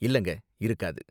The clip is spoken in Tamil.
இல்லங்க, இருக்காது.